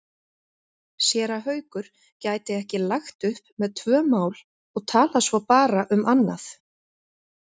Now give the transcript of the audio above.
Séra Haukur gæti ekki lagt upp með tvö mál og talað svo bara um annað.